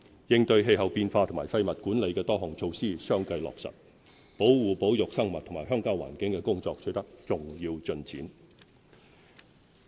應對氣候變化和廢物管理的多項措施相繼落實。保護保育生物和鄉郊環境的工作取得重要進展。